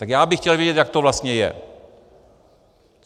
Tak já bych chtěl vědět, jak to vlastně je.